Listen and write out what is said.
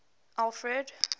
alfred